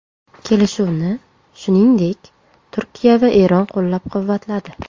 Kelishuvni, shuningdek, Turkiya va Eron qo‘llab-quvvatladi.